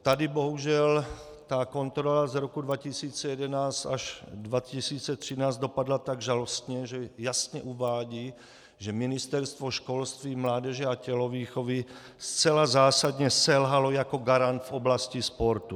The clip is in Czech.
Tady bohužel ta kontrola z roku 2011 až 2013 dopadla tak žalostně, že jasně uvádí, že Ministerstvo školství, mládeže a tělovýchovy zcela zásadně selhalo jako garant v oblasti sportu.